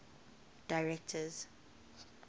directors